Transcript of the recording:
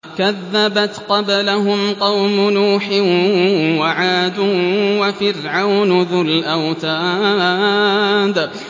كَذَّبَتْ قَبْلَهُمْ قَوْمُ نُوحٍ وَعَادٌ وَفِرْعَوْنُ ذُو الْأَوْتَادِ